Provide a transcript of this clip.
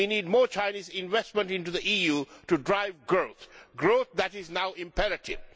We need more Chinese investment into the EU to drive growth, growth that is now imperative.